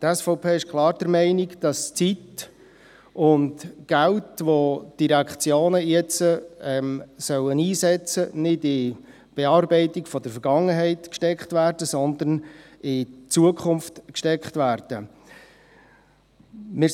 Die SVP ist klar der Meinung, dass Zeit und Geld, das die Direktionen jetzt einsetzen sollen, nicht in die Bearbeitung der Vergangenheit, sondern in die Zukunft gesteckt werden sollen.